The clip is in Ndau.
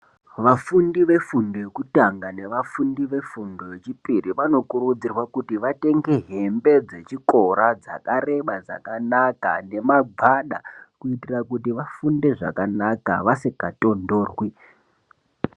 Vafundi vefundo yekutanga nevafundi vefundo yechipiri vanokurudzirwa kuti vatenge hembe dzechikora dzakareba dzakanaka nemagwada kuitira kuti vafunde zvakanaka vasikatondorwi.